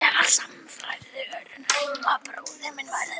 Ég var sannfærð um að bróðir minn væri að deyja